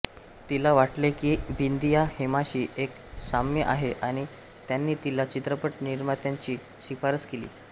तिला वाटले की बिंदीया हेमाशी एक साम्य आहे आणि त्यांनी तिला चित्रपट निर्मात्यांची शिफारस केली